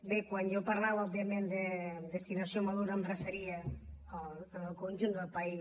bé quan jo parlava òbviament de destinació madura em referia al conjunt del país